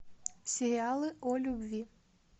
сериалы о любви